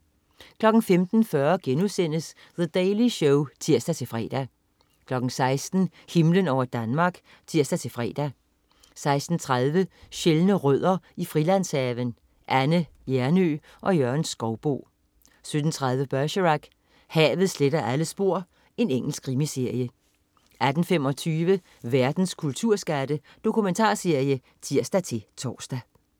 15.40 The Daily Show* (tirs-fre) 16.00 Himlen over Danmark (tirs-fre) 16.30 Sjældne rødder i Frilandshaven. Anne Hjernøe og Jørgen Skouboe 17.30 Bergerac: Havet sletter alle spor. Engelsk krimiserie 18.25 Verdens kulturskatte. Dokumentarserie (tirs-tors)